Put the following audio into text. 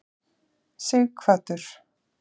Sighvatur